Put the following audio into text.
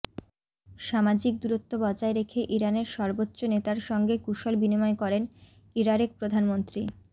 সামাজিক দূরত্ব বজায় রেখে ইরানের সর্বোচ্চ নেতার সঙ্গে কুশল বিনিময় করেন ইরারেক প্রধানমন্ত্রী